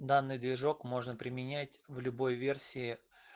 данный движок можно применять в любой версии